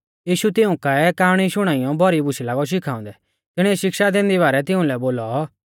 यीशु तिऊं काऐ काआणी शुणाइयौ भौरी बूशै लागौ शिखाउंदै तिणीऐ शिक्षा दैंदी बारै तिउंलै बोलौ